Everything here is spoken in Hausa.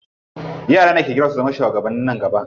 Yara ne ke girma su zama shugabanni nan gaba.